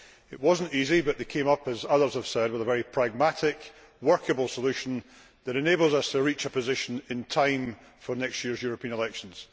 It was not easy, but they came up as others have said with a pragmatic, workable solution which enables us to reach a position in time for next year's European elections.